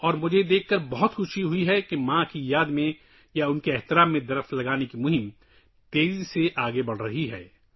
اور مجھے یہ دیکھ کر بہت خوشی ہوئی کہ ماں کی یاد میں یا ان کے اعزاز میں درخت لگانے کی مہم تیزی سے آگے بڑھ رہی ہے